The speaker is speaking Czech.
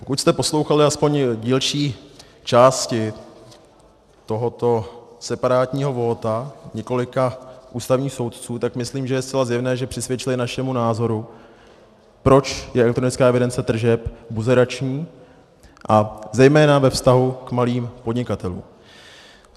Pokud jste poslouchali aspoň dílčí části tohoto separátního vóta několika ústavních soudců, tak myslím, že je zcela zjevné, že přisvědčili našemu názoru, proč je elektronická evidence tržeb buzerační, a zejména ve vztahu k malým podnikatelům.